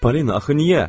Polina, axı niyə?